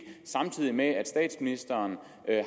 samtidig med at at statsministeren